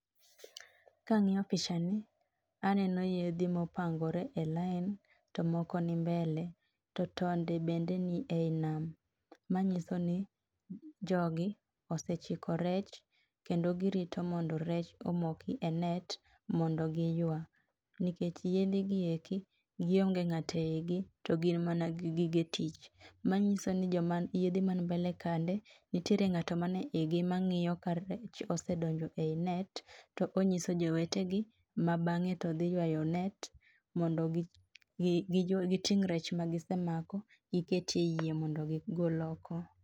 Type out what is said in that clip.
Kang'iyo pichani aneno yedhi mopangore e line. to moko ni mbele, to tonde bende ni ei nam, ma nyiso ni jogi osechiko rech, kendo girito mondo rech omoki e net, mondo giywa. nikech yedhi gi eki gionge ng'to e igi, to gin mana gi gige tich. ma nyiso jog mani yedhi mani mbele kande, nitiere ng'ato mane igi mang'iyo ka rech osedonjo ei net, to onyiso jowetegi mabange to dhi ywayo net mondo giting' rech magisemako giket e iye mondo gigol oko.